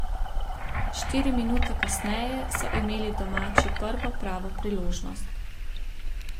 Štiri minute kasneje so imeli domači prvo pravo priložnost.